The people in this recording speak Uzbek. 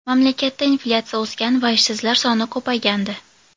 Mamlakatda inflyatsiya o‘sgan va ishsizlar soni ko‘paygandi.